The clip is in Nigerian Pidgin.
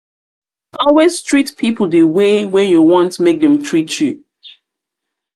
always treat pipo di way wey you want make dem treat you